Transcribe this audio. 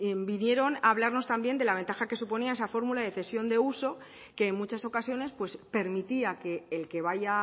vinieron a hablarnos también de la ventaja que suponía esa fórmula de cesión de uso que en muchas ocasiones permitía que el que vaya